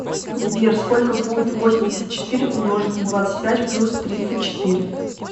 сбер сколько будет восемьдесят четыре умножить на двадцать пять плюс тридцать четыре